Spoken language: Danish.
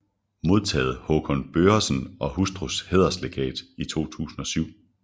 Modtaget Hakon Børresen og hustrus Hæderslegat 2007